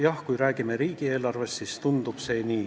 Jah, kui me räägime riigieelarvest, siis tundub see nii.